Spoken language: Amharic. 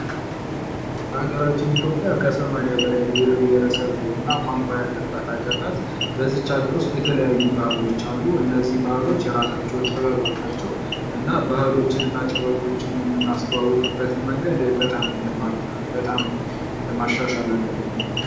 አገራችን ኢትዮጵያ ከሰማኒያ በላይ ብሔር ብሐረሰብ እና ቋንቋ ያለባት አገር ናት። በዚች አገር ዉስጥ የተለያዩ ባህሎች አሉ። እነዚህ ባህሎች የራሳቸዉ ጥበብ አላቸዉ። እና ባህሎችን እና ጥበቦችን የምናስተዋዉቅበት መንገዶችን በጣም ማሻሻል አለብን።